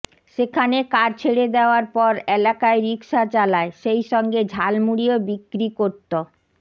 সেখানে কাজ ছেড়ে দেওয়ার পর এলাকায় রিক্সা চালায় সেই সঙ্গে ঝালমুড়িও বিক্রি করত